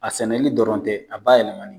A sɛmɛli dɔrɔn tɛ a bayɛlɛmali.